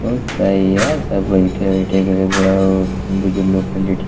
बहुत सही यह सब बईठे उठे बुजु लो के लेठी --